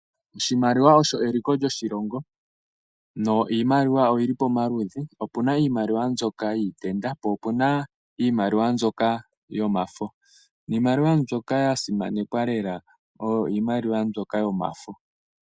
Oshimaliwa osho eliko lyoshilongo yo iimaliwa oyili pamaludhi. Opuna iimaliwa mbyoka yiitenda po opuna iimaliwa mbyoka yomafo. Niimaliwa mbyoka ya simanekwa lela oyo iimaliwa mbyoka yomafo.